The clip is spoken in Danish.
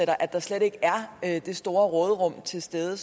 og at der slet ikke er det store råderum til stede